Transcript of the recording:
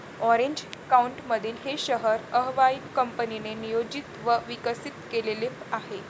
Orange काउंटीमधील हे शहर अर्व्हाइन कंपनीने नियोजित व विकसित केलेले आहे.